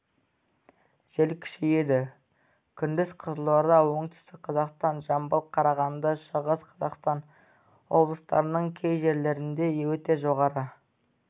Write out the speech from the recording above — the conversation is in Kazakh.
жел күшейеді күндіз қызылорда оңтүстік қазақстан жамбыл қарағанды шығыс қазақстан облыстарының кей жерлерінде өте жоғары